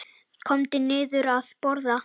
Komdu niður að borða.